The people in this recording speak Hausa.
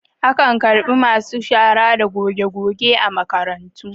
Akan karɓi masu shara da gogegoge a makarantu.